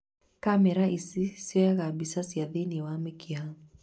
Kamera ici cioyaga mbica cia thĩ-inĩ wa mĩkiha